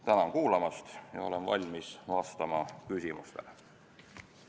Tänan kuulamast ja olen valmis vastama küsimustele!